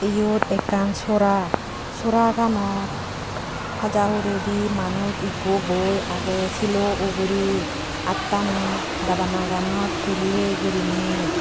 iyot ekkan sora sora gano haja huredi manuj ekku boi agey shilo ugurey attani dabanaganot tulley guriney.